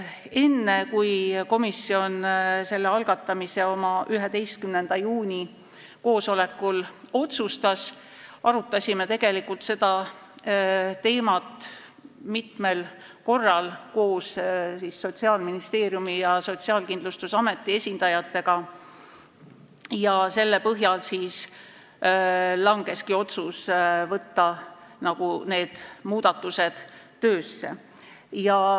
Enne kui komisjon selle algatamise oma 11. juuni koosolekul otsustas, arutasime me seda teemat mitmel korral koos Sotsiaalministeeriumi ja Sotsiaalkindlustusameti esindajatega ja selle põhjal langeski otsus võtta need muudatused töösse.